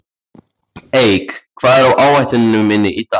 Eik, hvað er á áætluninni minni í dag?